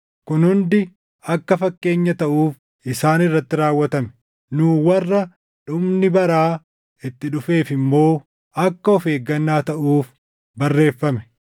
Kun hundi akka fakkeenya taʼuuf isaan irratti raawwatame; nuu warra dhumni baraa itti dhufeef immoo akka of eeggannaa taʼuuf barreeffame.